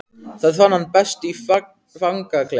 Það fann hann best í fangaklefanum.